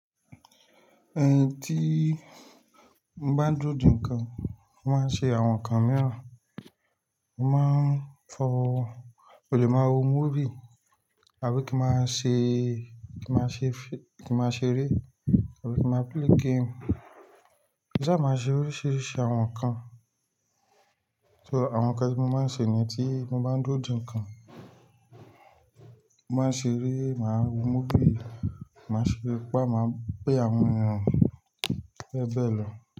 Ẹyin tí mo bá ń dúrò dín nǹkan, mo máa ń ṣe àwọn nǹkan mìíràn. Mo máa ń fọ, mo lè máa wo móvie, àbí kí ma ṣe, kí ma ṣe fi, kí máa ṣeré, àbí kí máa play game. Máa ṣa ma se oríṣìíríṣìí àwọn nǹkan. So, àwọn nǹkan tí mo máa ń ṣe niyen, tí mo bá ń dúrò de nǹkan, mo máa n ṣeré, máa wo móbì, máa ṣe pa ma pé àwọn èèyan beebe lọ.